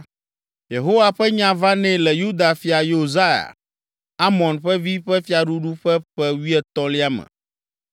Yehowa ƒe nya va nɛ le Yuda fia Yosia, Amon ƒe vi ƒe fiaɖuɖu ƒe ƒe wuietɔ̃lia me.